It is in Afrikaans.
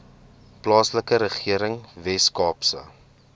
plaaslike regering weskaapse